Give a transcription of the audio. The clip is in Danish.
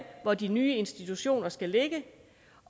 hvor de nye institutioner skal ligge